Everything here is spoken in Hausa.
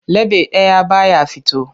Leɓe ɗaya ba ya fito.